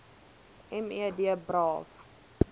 me d braaf